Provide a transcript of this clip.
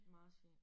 Marsvin